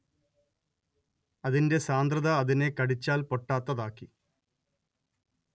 അതിന്റെ സാന്ദ്രത അതിനെ കടിച്ചാൽ പൊട്ടാത്തതാക്കി